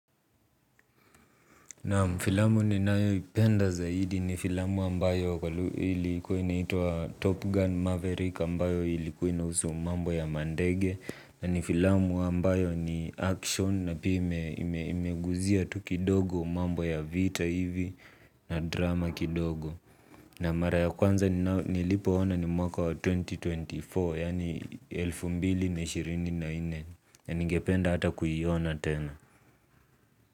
Naam filamu ninayoipenda zaidi ni filamu ambayo ilikuwa inaitwa Top Gun Maverick ambayo ilikuwa inahusu mambo ya mandege, na ni filamu ambayo ni action na pia ime imeguzia tu kidogo mambo ya vita hivi na drama kidogo. Na mara ya kwanza nilipoona ni mwaka wa elfu mbili na ishirini na nne yaani elfu mbili na ishirini na nne na ningependa hata kuiona tena.